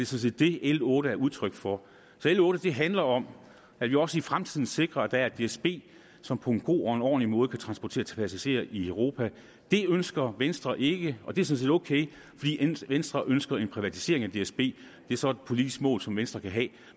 set det l otte er udtryk for så l otte handler om at vi også i fremtiden sikrer at der er et dsb som på en god og en ordentlig måde kan transportere passagerer i europa det ønsker venstre ikke og det er sådan set ok fordi venstre ønsker en privatisering af dsb det er så et politisk mål som venstre kan have